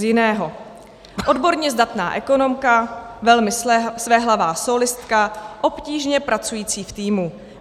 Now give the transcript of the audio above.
Z jiného: "Odborně zdatná ekonomka, velmi svéhlavá sólistka, obtížně pracující v týmu.